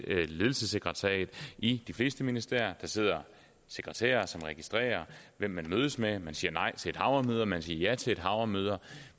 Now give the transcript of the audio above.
ledelsessekretariat i de fleste ministerier der sidder sekretærer som registrerer hvem man mødes med man siger nej til et hav af møder man siger ja til et hav møder